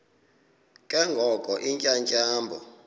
ke ngoko iintyatyambo